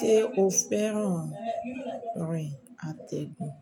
Ṣé o féràn rín àtẹ̀gùn?